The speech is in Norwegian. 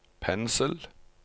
pensel